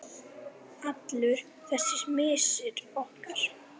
Allur þessi missir okkar.